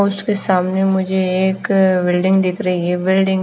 उसके सामने मुझे एक बिल्डिंग दिख रही है बिल्डिंग --